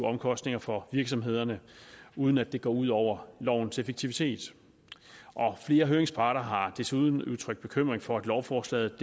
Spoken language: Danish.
omkostninger for virksomhederne uden at det går ud over lovens effektivitet flere høringsparter har desuden udtrykt bekymring for at lovforslaget